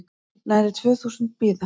Nærri tvö þúsund bíða